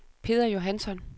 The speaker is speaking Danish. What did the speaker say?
Peder Johansson